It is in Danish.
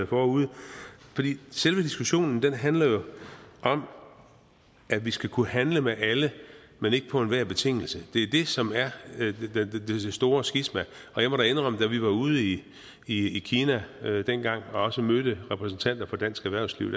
forude for selve diskussionen handler jo om at vi skal kunne handle med alle men ikke på enhver betingelse det er det som er det store skisma og jeg må indrømme at da vi var ude i i kina dengang og også mødte repræsentanter for dansk erhvervsliv